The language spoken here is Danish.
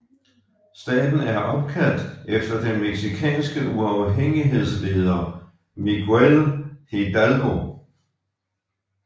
Staten er opkaldt efter den mexicanske uafhængighedsleder Miguel Hidalgo